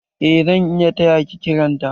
Eh zan iya taya ki kiran ta.